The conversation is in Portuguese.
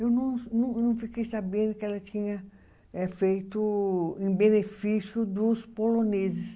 Eu não não fiquei sabendo que ela tinha feito em benefício dos poloneses.